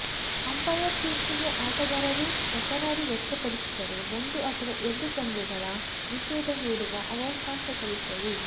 umpire ತೀರ್ಪಿಗೆ ಆಟಗಾರರು ತಕರಾರು ವ್ಯಕ್ತಪಡಿಸಿದರೆ ಒಂದು ಅಥವಾ ಎರಡು ಪಂದ್ಯಗಳ ನಿಷೇಧ ಹೇರುವ ಅವಕಾಶಗಳಿದ್ದವು